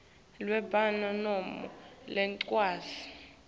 lwembhalo noma lencwadzi